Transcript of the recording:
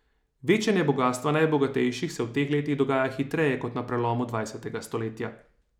Večanje bogastva najbogatejših se v teh letih dogaja hitreje kot na prelomu dvajsetega stoletja.